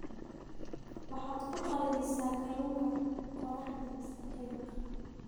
waxaad ku qalajisaa kalluunka qorraxda mise qiiq